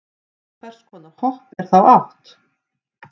Og hvað, geturðu ekki rifjað upp hvort þú hafir kveikt á því eða ekki?